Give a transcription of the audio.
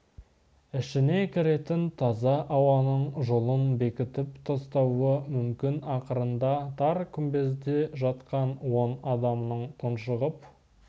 ішіне кіретін таза ауаның жолын бекітіп тастауы мүмкін ақырында тар күмбезде жатқан он адамның тұншығып